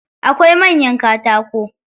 Akwai manyan katako.